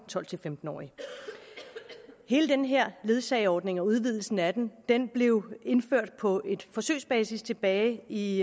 tolv til femten årige hele den her ledsageordning og udvidelsen af den den blev indført på forsøgsbasis tilbage i